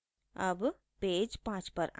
अब पेज 5 पर आएं